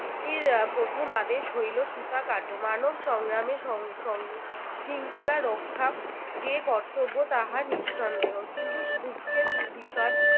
এর প্রথম আদেশ হইলো সূতা কাটো মানব সংগ্রামে সং সং শৃঙ্খলা রক্ষা যে কর্তব্য, তাহা নিঃসন্দেহ। কিন্তু দুঃখের বিষয়